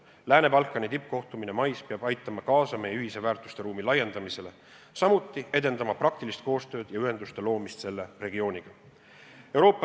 Lääne-Balkani tippkohtumine mais peab aitama kaasa meie ühise väärtusruumi laiendamisele, samuti edendama praktilist koostööd ja ühenduste loomist selle regiooniga.